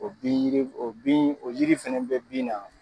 O bin yiri o bin o yiri fɛnɛ bɛ bin na.